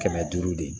Kɛmɛ duuru de